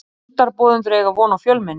Fundarboðendur eiga von á fjölmenni